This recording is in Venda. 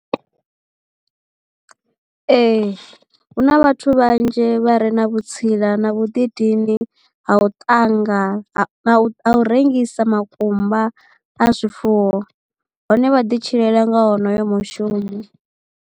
Ee hu na vhathu vhanzhi vha re na vhutsila na vhuḓidini ha u ṱanga na u rengisa makumba a zwifuwo hone vha ḓi tshilela nga honoyo mushumo.